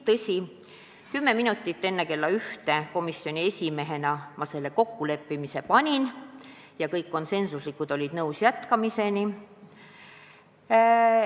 Tõsi, kümme minutit enne kella 13 ma komisjoni esimehena selle kokkuleppimise ette panin ja kõik olid konsensuslikult nõus jätkama.